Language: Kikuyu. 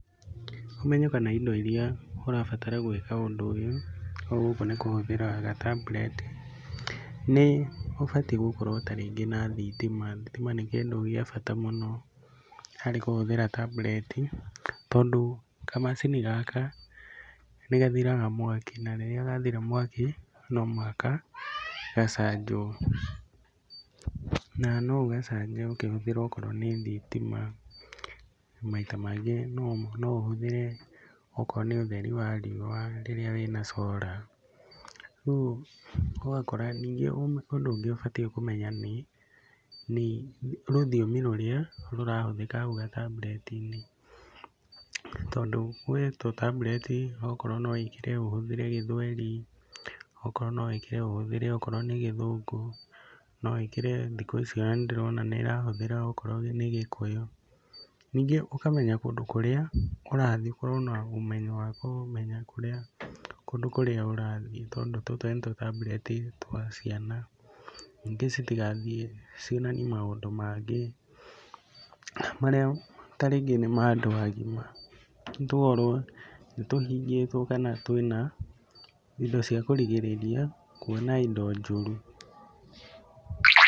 Ũmenyo kana indo iria ũrabatara gwĩka ũndũ ũyũ, gũkũ nĩ kũhũthĩra gatambureti, nĩ ũbatiĩ ta rĩngĩ gũkorwo ta rĩngĩ na thitima. Thitima nĩ kĩndũ gĩa bata mũno harĩ kũhũthĩra tambureti tondũ kamacini gaka nĩ gathiraga mwaki, na rĩrĩa gathira mwaki no mũhaka gacanjwo. Na no ũgacanje ũkĩhũthĩra okorwo nĩ thitima na maita mangĩ no ũhũthĩre okorwo nĩ ũtheri wa riũa rĩrĩa wĩna cora. Rĩu ũgakora ningĩ ũndũ ũngĩ ũbatiĩ kũmenya nĩ, nĩ rũthimi rũria rũrĩa rũrahũthĩka hau gatambureti-inĩ. Tondũ he tũtambureti okorwo no wĩkĩre ũhũthire gĩthweri, okorwo no wĩkĩre ũhũthĩre okorwo nĩ gĩthũngũ, no wĩkĩre thikũ ici ona nĩ ndĩrona nĩ ĩrahũthĩra okorwo nĩ gĩkũyũ. Ningĩ ũkamenya kũndũ kũrĩa ũrathi ũkorwo na ũmenyo wa kũmenya kũndũ kũrĩa ũrathi tondũ, tũtũ nĩ tũtambureti twa ciana ningĩ citigathiĩ cionanie maundũ mangĩ marĩa ta rĩngĩ nĩ mandũ agima nĩ tuo nĩ tũhingĩtwo kana twĩna indo cia kũrigĩrĩria kuona indo njũru.